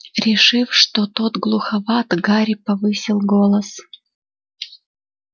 решив что тот глуховат гарри повысил голос